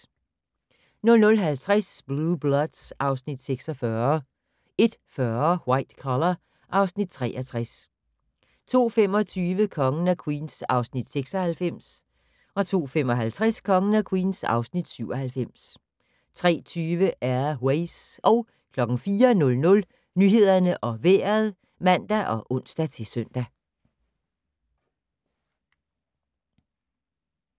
00:50: Blue Bloods (Afs. 46) 01:40: White Collar (Afs. 63) 02:25: Kongen af Queens (Afs. 96) 02:55: Kongen af Queens (Afs. 97) 03:20: Air Ways 04:00: Nyhederne og Vejret (man og ons-søn)